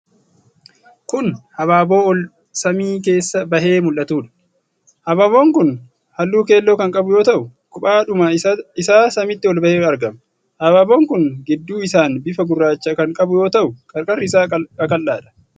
Kun habaaboo ol samii keessa bahee mul'atuudha. Habaaboon kun halluu keelloo kan qabu yoo ta'u, kophaadhuma isaa samiitti ol bahee argama. Habaaboon kun gidduu isaan bifa gurraacha kan qabu yoo ta'u, qarqarri isaa qaqal'aadha.